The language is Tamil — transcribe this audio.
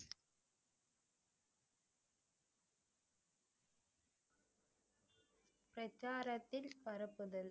பிரச்சாரத்தில் பரப்புதல்.